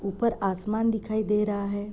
ऊपर आसमान दिखाई दे रहा है।